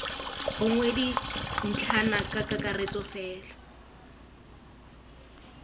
gongwe dintlhana ka kakaretso fela